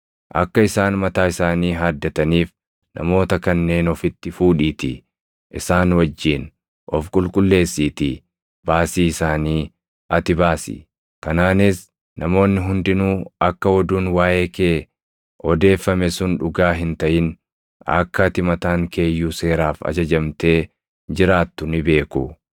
Akka isaan mataa isaanii haaddataniif namoota kanneen ofitti fuudhiitii isaan wajjin of qulqulleessiitii baasii isaanii ati baasi. Kanaanis namoonni hundinuu akka oduun waaʼee kee odeeffame sun dhugaa hin taʼin, akka ati mataan kee iyyuu seeraaf ajajamtee jiraattu ni beeku.